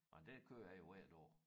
Men dér kører jeg jo hver dag